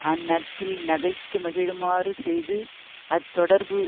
அந் நட்பில் நகைத்து மகிழுமாறு செய்து அத் தொடர்பு